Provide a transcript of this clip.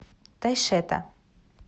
тайшета